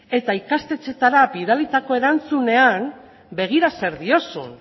eta ikastetxeetara bidalitako erantzunean begira zer diozun